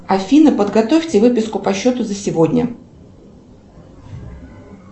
афина подготовьте выписку по счету за сегодня